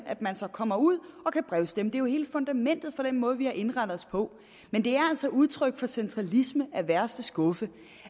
at man så kommer ud og kan brevstemme det er jo hele fundamentet for den måde vi har indrettet os på men det er altså udtryk for centralisme af værste skuffe